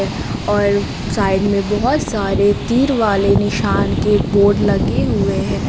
और साइड में बहोत सारे तीर वाले निशान के बोर्ड लगे हुए हैं।